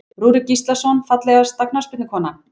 Rúrik Gíslason Fallegasta knattspyrnukonan?